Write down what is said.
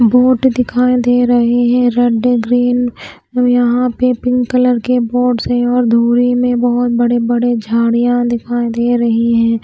Board दिखाई दे रहे हैं रेड ग्रीन और यहां पे पिंक कलर के बोर्डस हैं और दूरी में बहुत बड़े बड़े झाड़ियां दिखाई दे रही हैं।